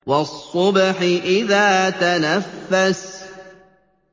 وَالصُّبْحِ إِذَا تَنَفَّسَ